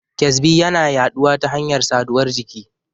ƙyazbi yana yaɗuwa ta hanyar saduwar jiki.